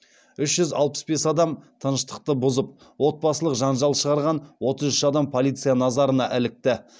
үш жүз алпыс бес адам тыныштықты бұзып отбасылық жанжал шығарған отыз үш адам полиция назарына ілікті